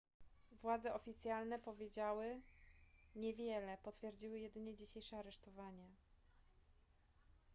władze oficjalne powiedziały niewiele potwierdziły jedynie dzisiejsze aresztowanie